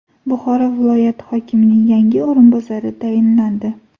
Buxoro viloyati hokimining yangi o‘rinbosari tayinlandi.